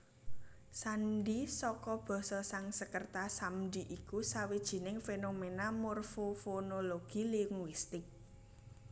Sandhi saka basa Sangskreta samdhi iku sawijining fénoména morfofonologi linguistik